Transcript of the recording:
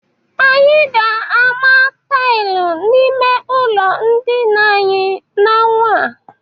Anyị ga-ama taịl n'ime ụlọ ndịna anyị n'ọnwa a.